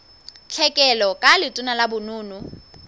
tlhekelo ka letona la bonono